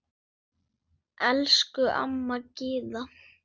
Elsku amma Gyða.